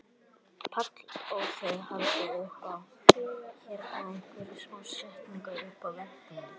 Páll: Og þið haldið upp á hérna einhverja smá stemningu uppi á veggjum?